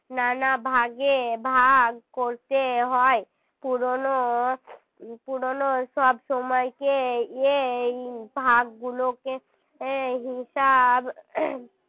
নানা ভাগে ভাগ করতে হয় পুরোনো পুরনো সব সময়কে এই ভাগ গুলোকে হিসাব